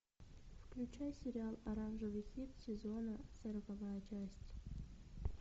включай сериал оранжевый хит сезона сороковая часть